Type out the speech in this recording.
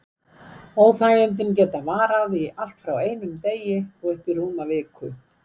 Óþægindin geta varað í allt frá einum degi og upp í rúma viku.